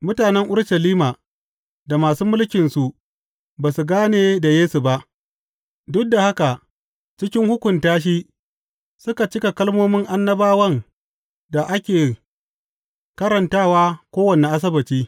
Mutanen Urushalima da masu mulkinsu ba su gane da Yesu ba, duk da haka cikin hukunta shi suka cika kalmomin annabawan da ake karantawa kowane Asabbaci.